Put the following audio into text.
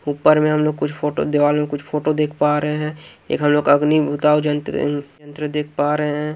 ऊपर में हम लोग कुछ फोटो दीवाल में कुछ फोटो देख पा रहे हैं एक हमलोग अग्नि बुताओ जंत्र यँत्र देख पा रहे है।